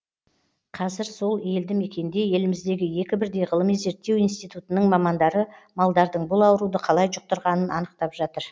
қазір сол елді мекенде еліміздегі екі бірдей ғылыми зерттеу институтының мамандары малдардың бұл ауруды қалай жұқтырғанын анықтап жатыр